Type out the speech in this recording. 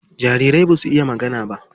Jariri basu iya magana ba.